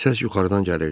Səs yuxarıdan gəlirdi.